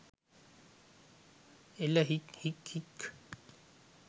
එල හික් හික් හික්